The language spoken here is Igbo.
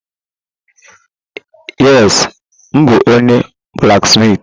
Yes, m bụ onye blaksmitị.